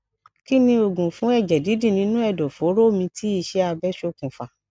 kí ni oògùn fun eje didi nínú ẹdọ foro mi tí ise abe sokun fa